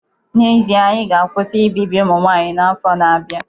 N'ezie, anyị ga-akwụsị ibibi ụmụ nwanyị n'afọ na-abịa